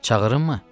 Çağırımmı?